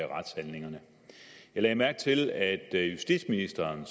retshandlingerne jeg lagde mærke til at justitsministeren